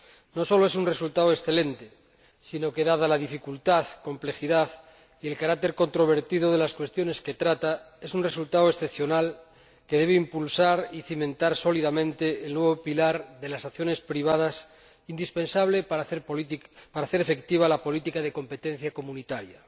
No sólo es un resultado excelente, sino que, dada la dificultad, la complejidad y el carácter controvertido de las cuestiones de que trata, es un resultado excepcional, que debe impulsar y cimentar sólidamente el nuevo pilar de las acciones privadas, indispensable para hacer efectiva la política de competencia comunitaria.